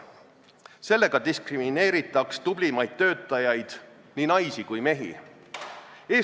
Sellega diskrimineeritaks tublimaid töötajaid, nii naisi kui mehi.